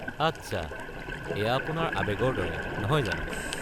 আচ্ছা, এয়া আপোনাৰ বাবে আৱেগৰ দৰে, নহয় জানো?